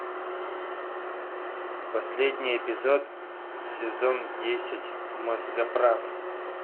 последний эпизод сезон десять мозгоправ